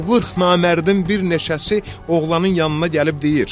O qırx namərdin bir neçəsi oğlanın yanına gəlib deyir: